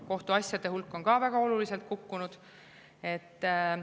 Kohtuasjade hulk on väga oluliselt kukkunud.